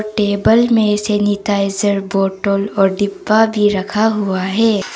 Table में sanitizer bottle और डिब्बा भी रखा हुआ है।